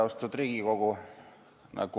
Aseesimees Siim Kallas